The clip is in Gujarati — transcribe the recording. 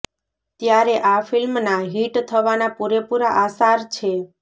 ત્યારે આ ફિલ્મના હિટ થવાના પૂરે પૂરા આસાર છે